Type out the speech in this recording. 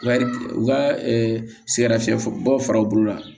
U ka u ka sɛgɛn nafiyɛ bɔ fara u bolo la